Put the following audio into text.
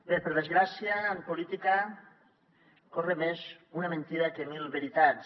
bé per desgràcia en política corre més una mentida que mil veritats